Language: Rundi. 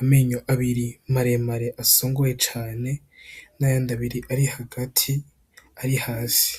amenyo abiri maremare asongoye cane n'ayandi abiri ari hagati, ari hasi.